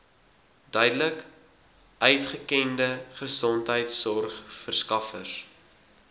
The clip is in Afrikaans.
duidelik uitgekende gesondheidsorgverskaffers